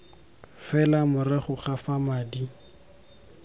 fela morago ga fa madi